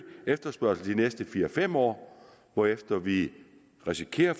efterspørgsel de næste fire fem år hvorefter vi risikerer at